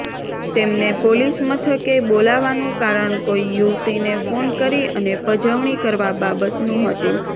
તેમને પોલીસમથકે બોલાવાનું કારણ કોઈ યુવતીને ફોન કરી અને પજવણી કરવા બાબતનું હતું